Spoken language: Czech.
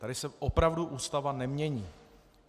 Tady se opravdu Ústava nemění.